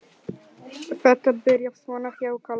Þetta byrjaði svona hjá Kalla.